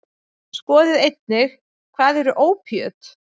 Skoðið einnig: Hvað eru ópíöt?